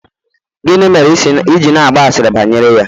gini mere i ji na-agba asịrị bayere ya?